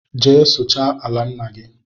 Jee suchaa ala ńnà gị!!